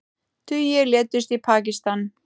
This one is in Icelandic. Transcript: Tugir létust í Pakistan